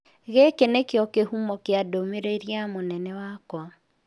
Gĩkĩ nĩ kĩo kĩhumo kĩa ndũmĩrĩri ya mũnene wakwa.